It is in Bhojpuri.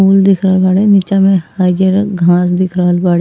फूल दिख रहल बाड़े निचा में हरिअर घाँस दिख रहल बाड़े।